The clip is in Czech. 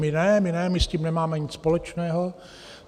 My ne, my ne, my s tím nemáme nic společného.